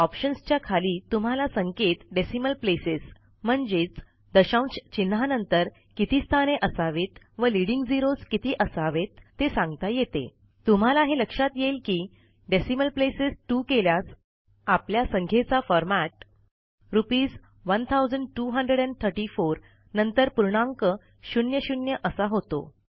options च्या खाली तुम्हाला संख्येत डेसिमल प्लेसेस म्हणजेच दशांश चिन्हानंतर किती स्थाने असावीत व लीडिंग झेरोस किती असावेत ते सांगता येते तुम्हाला हे लक्षात येईल की डेसिमल प्लेसेस 2 केल्यास आपल्या संख्येचा फॉरमॅट रुपीस 1234 नंतर पूर्णांक शून्य शून्य असा होतो